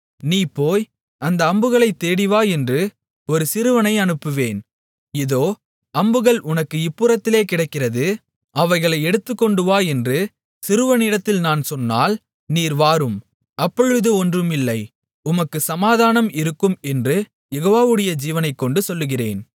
நீ போய் அந்த அம்புகளைத் தேடி வா என்று ஒரு சிறுவனை அனுப்புவேன் இதோ அம்புகள் உனக்கு இப்புறத்திலே கிடக்கிறது அவைகளை எடுத்துக்கொண்டுவா என்று சிறுவனிடத்தில் நான் சொன்னால் நீர் வாரும் அப்பொழுது ஒன்றும் இல்லை உமக்குச் சமாதானம் இருக்கும் என்று யெகோவாவுடைய ஜீவனைக்கொண்டு சொல்லுகிறேன்